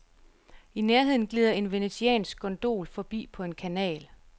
I nærheden gilder en venetiansk gondol forbi på en kanal.